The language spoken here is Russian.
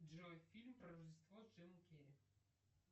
джой фильм про рождество с джимом керри